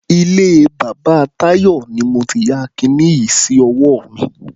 Ilé bàbá Táyọ̀ ni mo ti ya kiní yìí sí ọwọ́ mi.